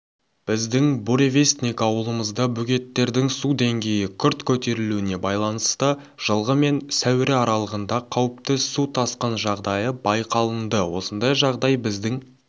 біздің буревестник ауылымызда бөгеттердің су деңгейі күрт көтерілуіне байланысты жылғы мен сәуірі аралығында қауіпті су тасқын жағдайы байқалынды осындай жағдай біздің